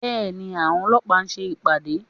Bẹ́ẹ̀ni, àwọn ọlọ́pàá ń ṣe ìpàdé